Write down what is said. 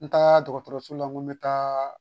N taara dɔgɔtɔrɔso la n ko n be taa